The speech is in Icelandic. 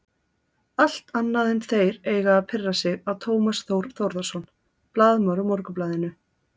Allt annað en þeir eiga að pirra sig á Tómas Þór Þórðarson, blaðamaður á Morgunblaðinu.